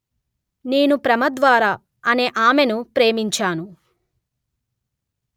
నేను ప్రమద్వార అనే ఆమెను ప్రేమించాను